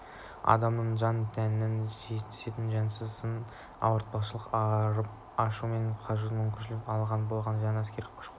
адамның жан-тәніне түсетін жөнсіз сын мен ауыртпалықтан арып-ашу мен қажудан мүмкіндігінше аулақ болған жөн әскердің күш-қуаты